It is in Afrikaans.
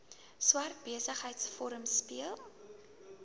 swart besigheidsforum speel